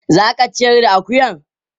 Za ka ciyar da akuyan?